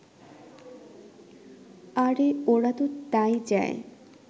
আরে ওরা ত তা-ই চায়